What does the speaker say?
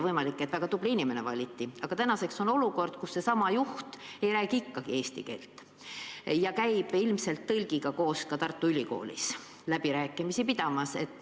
Võimalik, et väga tubli inimene valiti, aga praegu on olukord, kus seesama juht ei räägi ikka veel eesti keelt ja käib ilmselt koos tõlgiga ka Tartu Ülikoolis läbirääkimisi pidamas.